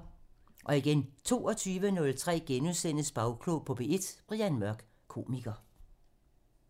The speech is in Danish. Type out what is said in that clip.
22:03: Bagklog på P1: Brian Mørk, komiker *